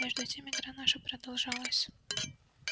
между тем игра наша продолжалась